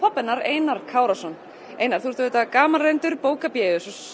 Einar Kárason einar þú ert gamalreyndur bókabéus og